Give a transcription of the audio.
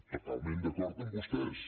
totalment d’acord amb vostès